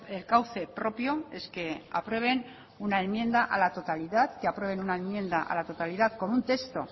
el cauce propio es que aprueben una enmienda a la totalidad que aprueben una enmienda a la totalidad con un texto